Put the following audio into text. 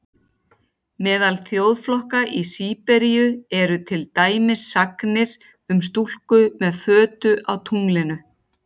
Meðal þjóðflokka í Síberíu eru til dæmis sagnir um stúlku með fötu á tunglinu.